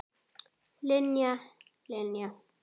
Linja, Linja.